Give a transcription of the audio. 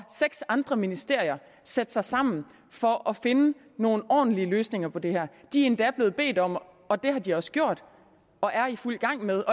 seks andre ministerier sætte sig sammen for at finde nogle ordentlige løsninger på det her de er endda blevet bedt om og det har de også gjort og er i fuld gang med